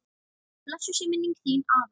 Blessuð sé minning þín, afi.